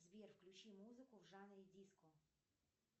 сбер включи музыку в жанре диско